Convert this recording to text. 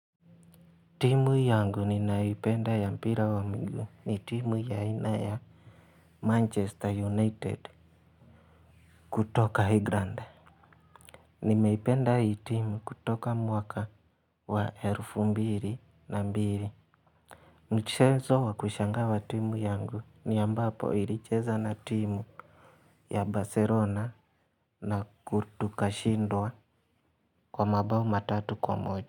Timu yangu ninaipenda ya mpira wa mgu ni timu ya aina ya manchester united. Kutoka England. Nimeipenda hii timu kutoka mwaka wa elfu mbili na mbili. Mchezo wa kushangaza wa timu yangu ni ambapo ilicheza na timu ya Barcelona na kutoka ikishindwa kwa mabao matatu kwa moja.